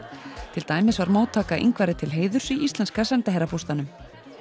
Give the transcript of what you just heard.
til dæmis var móttaka Ingvari til heiðurs í íslenska sendiherrabústaðnum